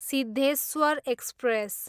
Siddheshwar express